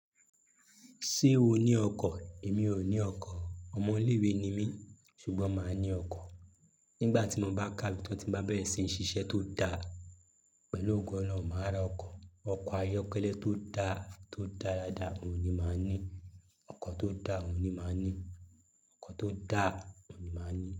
Ṣé o ní ọkọ̀? Èmi ò ní ọkọ̀, ọmọ ilé ìwé ni mí. Ṣùgbọ́n màá ní ọkọ̀ nígbà tí mo bá káwe tan tí n bá bẹ̀rẹ̀ sí ní ṣiṣẹ́ tó dáa pẹ̀lú ogo Ọlọ́run, màá ra ọkọ̀. Ọkọ̀ ayọ́kẹ́lẹ́ tó dá, tó dáradára òun ni màá ní. Ọkọ̀ tó dá òun ni màá ní. Ọkọ̀ tó dá òun ni màá ní.